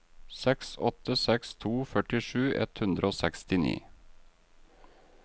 seks åtte seks to førtisju ett hundre og sekstini